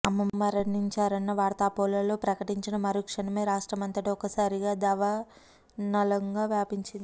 అమ్మ మరణించారన్న వార్త అపోలో ప్రకటించిన మరుక్షణమే రాష్టమ్రంతటా ఒక్కసారిగా దావానలంగా వ్యాపించింది